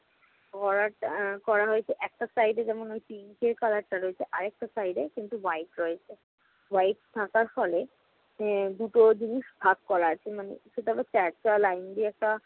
করাটা~ আহ করা হয়েছে। একটা side এ যেমন pink এর color টা রয়েছে, আরেকটা side এ কিন্তু white রয়েছে। white থাকার ফলে আহ দুটো জিনিস ভাগ করা আছে। মানে সেটা হচ্ছে একটা লাইন দিয়ে একটা